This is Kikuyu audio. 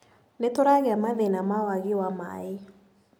Nĩtũragĩa mathĩna ma wagi wa maĩ.